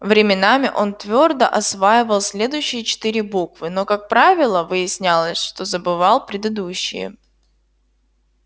временами он твёрдо осваивал следующие четыре буквы но как правило выяснялось что забывал предыдущие